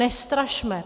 Nestrašme!